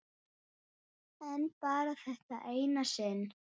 Ég hafði óttast þá síðan.